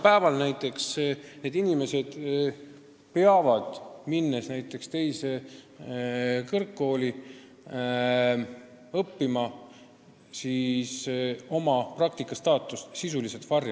Praegu on nii, et kui need inimesed tulevad meie kõrgkooli õppima, siis peavad nad oma praktikandistaatust sisuliselt varjama.